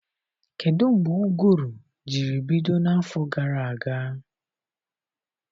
Kedụ mgbe ụgụrụ jiri bido n'afọ gara aga?